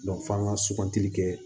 f'an ka sugantili kɛ